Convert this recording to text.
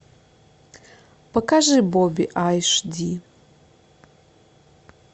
покажи бобби айш ди